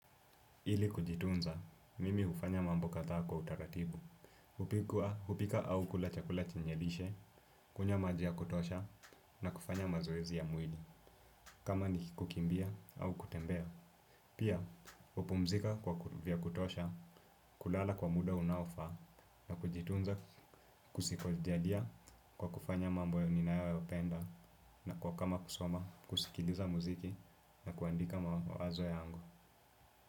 Ili kujitunza, mimi hufanya mambo kadhaa kwa utaratibu. Hupika au kulachakula chenye lishe, kunywa maji ya kutosha, na kufanya mazoezi ya mwili. Kama ni kukimbia au kutembea. Pia, hupumzika vya kutosha, kulala kwa muda unaofaa, na kujitunza kujisaidia kwa kufanya mambo ninayoyapenda, na kwa kama kusoma, kusikiliza muziki, na kuandika mawazo yangu.